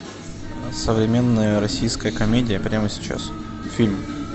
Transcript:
современная российская комедия прямо сейчас фильм